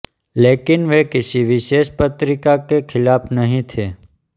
लेकिन वे किसी विशेष पत्रिका के खिलाफ़ नहीं थे